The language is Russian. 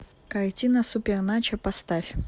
картина суперначо поставь